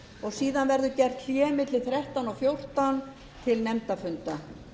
og síðan verður gert hlé milli þrettán og fjórtán til nefndafunda